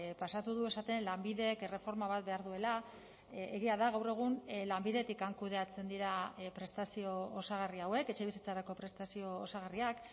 pasatu du esaten lanbidek erreforma bat behar duela egia da gaur egun lanbidetik kudeatzen dira prestazio osagarri hauek etxebizitzarako prestazio osagarriak